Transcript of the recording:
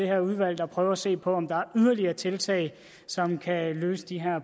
her udvalg der prøver at se på om der kan yderligere tiltag som kan løse de